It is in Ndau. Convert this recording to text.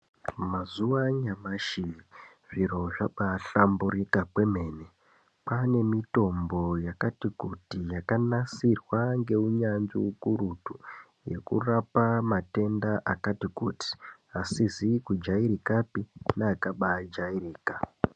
Mazuwa anyamashi zviro zvabaahlamburika kwemene kwaane mitombo yakati kuti yakanasirwa ngeunyanzvi ukurutu yekurapa matenda akati kuti asizi kujairikapi neakabaijairika.